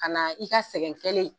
Ka na i ka sɛgɛn kelen